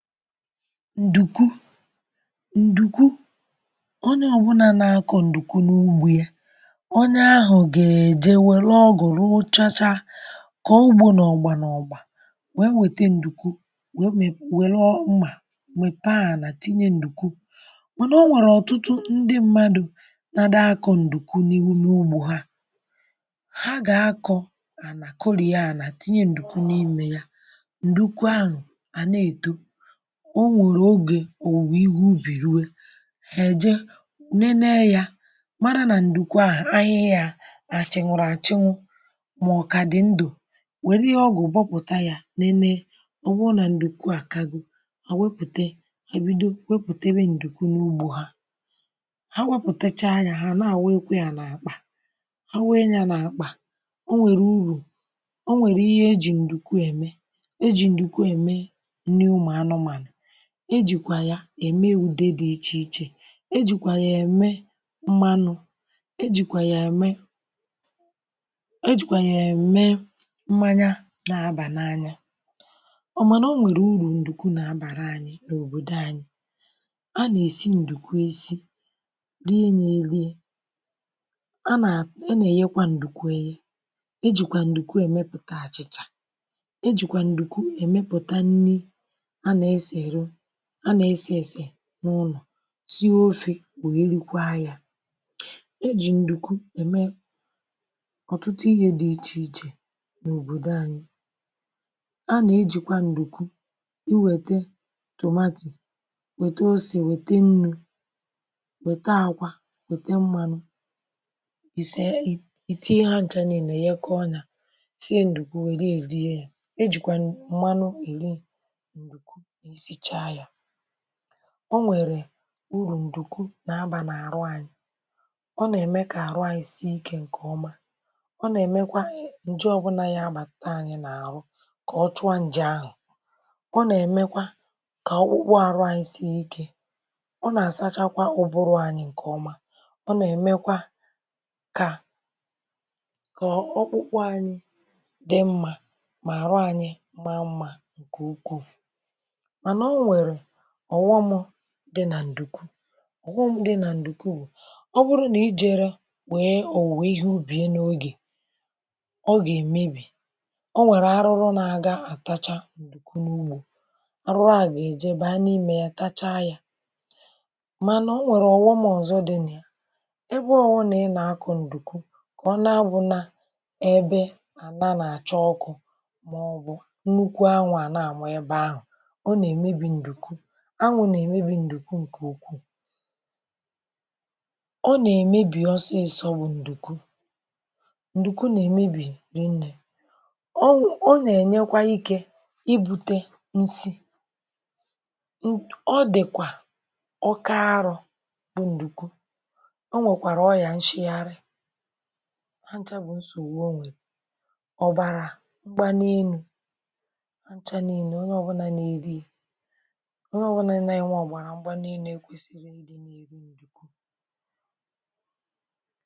Ǹdùku ǹdùku onye ọbụ̀là na-akụ ǹdùku n’ugbō ya onye ahụ̀ gà-èje wère ọgụ̀ rụchachaa kọọ ugbo n’ọ̀gba n’ọ̀gbà wee nwète ǹdùku wee mepee nwère mmà wee mèpee ànà tinye ǹdùku mànà o nwèrè ọ̀tụtụ ndi mmadụ̀ nà àdị akọ̀ ǹdùku n’ugbō ha ha gà-àkọ anà kọriè anà tinye ǹdùku n’ime ya ǹdùku ahụ̀ à na-èto o nwèrè ogè òwùwè ihe ubì rue hè èje nene ya mara na ǹdùku a ahịhịa a hà chànwụ̀rụ̀ àchanwụ mà ọ kà àdị̀ ndụ̀ wèli ihe ọgwụ̀ gbapụ̀tā nenee ọ̀ bụrụ nà ǹdùku a àkago hà wepùte hà bido wepùtebe ha wepụtàchaa ya ha nà-àwunyekwe ya n’àkpà àwunye ya n’àkpà o nwèrè urù o nwèrè ihe e jì ǹdùku ème e jì ǹdùku ème nri ụmụ̀anụmànụ̀ e jìkwà ème ùde di ichèichè e jìkwà ème mmanụ ejìkwà ème e jìkwà ème mmanya nà-abà n’anya mànà o nwèrè urù ǹdùku nà-àbàra anyị̄ n’òbòdò anyị̄ a nà-èsi ǹdùku e sī rie nya erie a nà a nà-èyekwa ǹdùku eyē e jìkwà ǹdùku èmepụ̀ta àchị̀chà e jìkwà ǹdùku èmepụ̀ta nri a nà-èsèrụ a nà-èsè èsè n’ụlọ̀ sie ofē wee rikwaa ya ọ̀tụtụ ihe di ichèichè n’òbòdò anyị̄ a nà-ejìkwa ǹdùku iwètē tomato wète osè wète nnu wète àkwa wète mmānụ̄ ì sie ìtinye ha nchā niilē yekọọ nya sie ǹdùku wèrie rie yā e jìkwa mmanụ èri ǹdùku i sichaa ya o nwèrè urù ǹdùku nà-abà n’àrụ anyị̄ ọ nà-ème kà àrụ àyị sie ikē ǹkèọma ọ nà-èmekwa ǹje ọbụlà gà-abàta ayị̄ n’àhụ kà ọ chụa njē ahụ̀ ọ nà-èmekwa kà ọkpụkpụ àrụ ànyị sie ikē ọ nà-àsachakwa ụ̀bụrụ̀ ànyị ǹkèọma ọ nà-èmekwa kà ọkpụkpụ anyị̄ dị mmā mà àrụ anyị̄ maa mma ǹkè ukwuu mànà o nwèrè ọ̀ghọm̄ di nà ǹdùku ọ̀ghọm̄ di nà ǹdùku bụ̀ ọ bụrụ nà ijērọ̄ wee òwùwè ihe ubiè n’ogè ọ gà-èmebì ọ nwèrè arụrụ na-aga àtacha ǹdùku n’ugbō arụrụ ahụ̀ gà-èje baa n’ime ya tachaa ya mànà o nwèrè ọ̀ghọm ọzọ̄ di nà ya ebe ọbụ̀la ị nà-akọ̀ ǹdùku kà ọ na-abụ̄nā ebe anà na-àcha ọkụ̄ màọbụ̀ nnukwu anwụ̄ a nà-àma ebe ahụ̀ ọ nà-èmebì ǹdùku anwụ̄ nà-èmebì ǹdùku ǹkè ukwuu ọ nà-èmebì ọsịsọ̄ mbụ̄ ǹdùku ǹdùku nà-èmebì ri nnē ọ nà-ènyekwa ike ibūtē nsi ọ dị̀kwà oke arọ̄ mbụ̄ ǹdùku o nwèkwàrà ọrịà nchigharị ha nchā bụ̀ nsògbu o nwè ọ̀bàrà ngbanie enū ha ncha niilē onye ọbụ̀la nà-enwe onye ọbụ̀la nà-enwe ekwēsīghī i rī ǹdùku